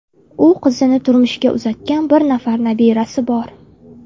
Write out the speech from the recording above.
U qizini turmushga uzatgan, bir nafar nabirasi bor.